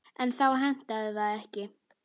En þá hentaði það ekki.